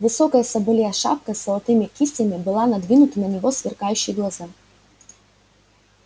высокая соболья шапка с золотыми кистями была надвинута на его сверкающие глаза